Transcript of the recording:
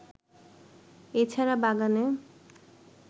এ ছাড়া বাগানে